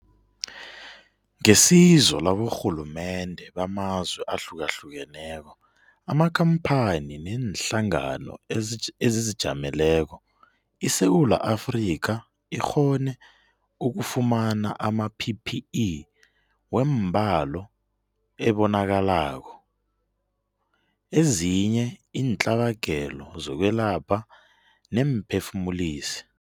Ngesizo laborhulumende bamazwe ahlukahlukeneko, amakhampani neenhlangano ezizijameleko, iSewula Afrika ikghone ukufumana ama-PPE wembalo ebonakalako, ezinye iintlabagelo zokwelapha neemphefumulisi.